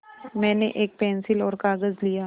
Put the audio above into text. मैंने एक पेन्सिल और कागज़ लिया